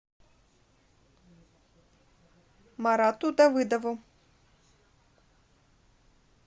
марату давыдову